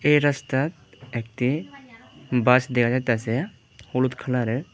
এ রাস্তার একতি বাস দেখা যাইতাসে হলুদ কালারের।